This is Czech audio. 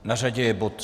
Na řadě je bod